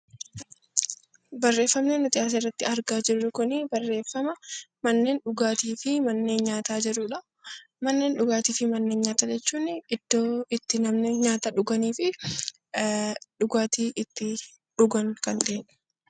Barreeffamni nuti asirratti argaa jirru kuni barreeffama manneen dhugaatii fi manneen nyaataa jedhudha. Manneen dhugaatii fi manneen nyaataa jechuun iddoo namoonni nyaata nyaatanii fi dhugaatii itti dhugan kan ta'edha.